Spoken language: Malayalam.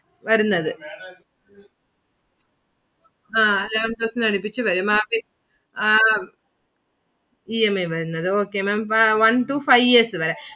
വരുന്നത് ആ eleven thousand അടുപ്പിച്ചു വരും. ബാക്കി അഹ് EMI വരുന്നത്. Okay Maám one to five years വരെ.